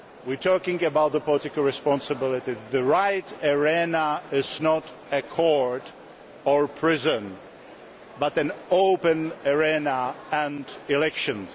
whenever we are talking about political responsibility, the right arena is not a court or prison but an open arena and elections.